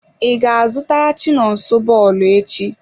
I ga-azụtara chinonso bọọlụ echi?